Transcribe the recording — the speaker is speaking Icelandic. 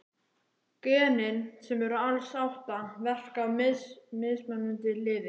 Genin, sem eru alls átta, verka á mismunandi liði.